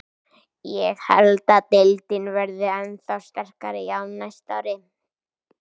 Ég held að deildin verði ennþá sterkari á næsta ári.